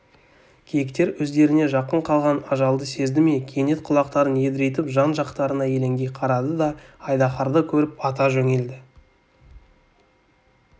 киіктер өздеріне жақын қалған ажалды сезді ме кенет құлақтарын едірейтіп жан-жақтарына елеңдей қарады да айдаһарды көріп ата жөнелді